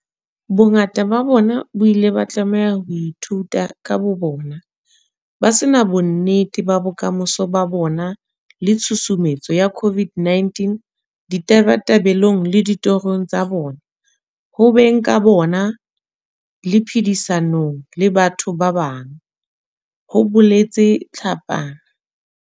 Bongata ba bona ba ile ba tlameha ho ithuta ka bobona, ba se na bonnete ba bokamoso ba bona le tshusumetso ya COVID-19 ditabatabelong le ditorong tsa bona, ho beng ka bona le phedisanong le batho ba bang, ho boletse Tlhapane.